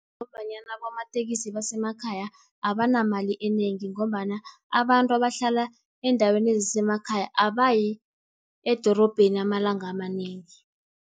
Ngombanyana abomatekisi basemakhaya abanamali enengi, ngombana abantu abahlala eendaweni ezisemakhaya abayi edorobheni amalanga amanengi.